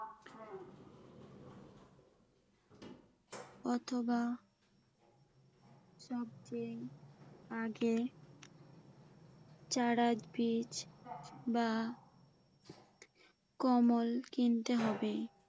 অথবা সবচেয়ে আগে চারা বীজ বা কমল কিনতে হবে।